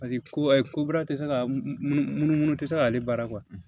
Paseke ko baara tɛ se ka munumunu tɛ se k'ale baara